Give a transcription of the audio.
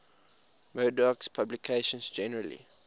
murdoch's publications generally